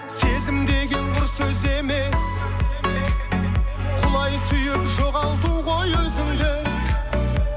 сезім деген құр сөз емес құлай сүйіп жоғалту ғой өзіңді